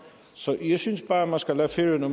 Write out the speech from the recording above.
så jeg synes bare at man skal lade færøerne